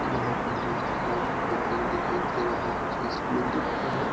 यहाँ पर बहुत बड़ा बिल्डिंग दिखाई दे रहा है जिसमें लिखा है --